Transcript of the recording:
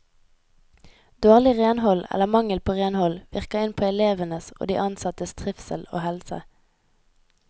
Dårlig renhold eller mangel på renhold virker inn på elevenes og de ansattes trivsel og helse.